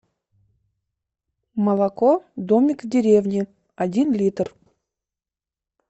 молоко домик в деревне один литр